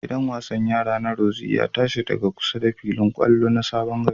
Gidan wasan yara na rorzi ya ta shi daga kusa da filin ƙwallon na Sabon gari.